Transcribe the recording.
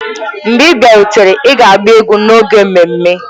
Mgbe ị bịarutere, ị ga-agba egwu n'oge ememme!